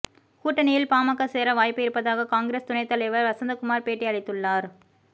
கூட்டணியில் பாமக சேர வாய்ப்பு இருப்பதாக காங்கிரஸ் துணைத்தலைவர் வசந்தகுமார் பேட்டி அளித்துள்ளார்